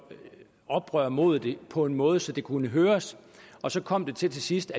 oprør imod det på en måde så det kunne høres og så kom det til sidst